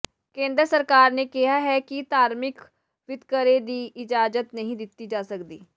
ਕੇਂਦਰ ਸਰਕਾਰ ਨੇ ਕਿਹਾ ਹੈ ਕਿ ਧਾਰਮਿਕ ਵਿਤਕਰੇ ਦੀ ਇਜਾਜ਼ਤ ਨਹੀਂ ਦਿੱਤੀ ਜਾ ਸਕਦੀ